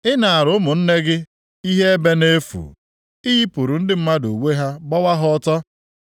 Ị naara ụmụnne gị ihe ebe nʼefu; ị yipụrụ ndị mmadụ uwe ha gbawa ha ọtọ.